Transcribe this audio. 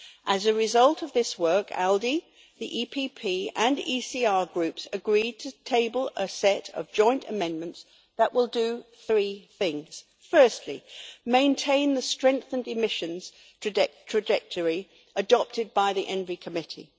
As a result of this work, ALDE, the EPP and ECR groups agreed to table a set of joint amendments that will do three things firstly, maintain the strength and emissions trajectory adopted by the ENVI Committee.